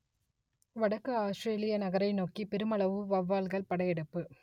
வடக்கு ஆஸ்த்திரேலிய நகரை நோக்கிப் பெருமளவு வௌவால்கள் படையெடுப்பு